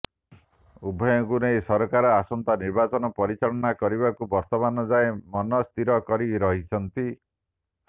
ଉଭୟଙ୍କୁ ନେଇ ସରକାର ଆସନ୍ତା ନିର୍ବାଚନ ପରିଚାଳନା କରିବାକୁ ବର୍ତମାନ ଯାଏ ମନସ୍ଥିର କରି ରହିଛନ୍ତି